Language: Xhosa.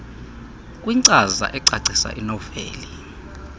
kwinkcaza ecacisa inoveli